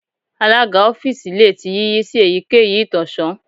Alaga ọfiisi le ti yiyi si eyikeyi itọsọn